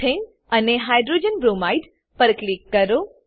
મેથાને અને hydrogen bromide પર click કરો